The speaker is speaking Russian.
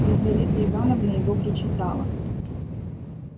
лизавета ивановна его прочитала